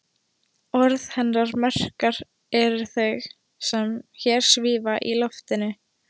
Orð hennar merkari en þau sem hér svífa í loftinu.